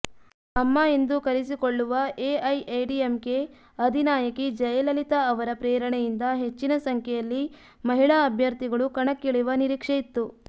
ಅಮ್ಮ ಎಂದು ಕರೆಸಿಕೊಳ್ಳುವ ಎಐಎಡಿಎಂಕೆ ಅಧಿನಾಯಕಿ ಜಯಲಲಿತಾ ಅವರ ಪ್ರೇರಣೆಯಿಂದ ಹೆಚ್ಚಿನ ಸಂಖ್ಯೆಯಲ್ಲಿ ಮಹಿಳಾ ಅಭ್ಯರ್ಥಿಗಳು ಕಣಕ್ಕಿಳಿಯುವ ನೀರಿಕ್ಷೆ ಇತ್ತು